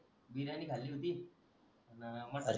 biryani खाली होती आणि मटण